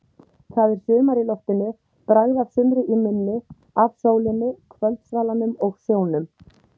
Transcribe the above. Það er sumar í loftinu, bragð af sumri í munni, af sólinni, kvöldsvalanum og sjónum.